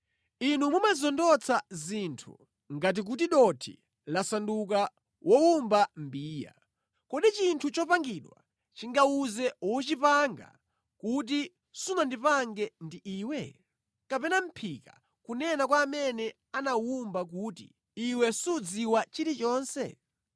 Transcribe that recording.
Inu mumazondotsa zinthu ngati kuti dothi lasanduka wowumba mbiya. Kodi chinthu chopangidwa chingawuze wochipanga kuti “Sunandipange ndi iwe?” Kapena mʼphika kunena kwa amene anawuwumba kuti, “Iwe sudziwa chilichonse?”